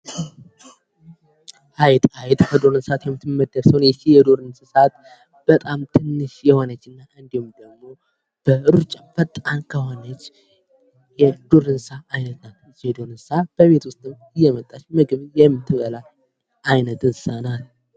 አይጥ፦ አይጥ ከዱር እንስሳት የምትመደብ ስትሆን ይህች የዱር እንስሳት በጣም ትንሽ የሆነች እንዲሁም በሩጫ በጣም ፈጣን የሆነች የዱር እንስሳት አይነት ናት። ይህች የዱር እንስሳ በቤት ውስጥም እየመጣች ምግብ የምትበላ የእንስሳ አይነት ናት።